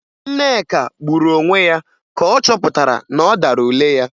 Nneka gburu onwe ya ka ọ chọpụtara na ọ dara ule ya